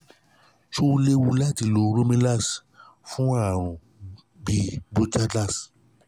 ṣé ó léwu láti lo romilast-l fún àrùn asítì bronchital?